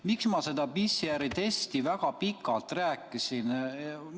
Miks ma sellest PCR-testist väga pikalt rääkisin?